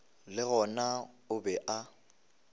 le gona o be a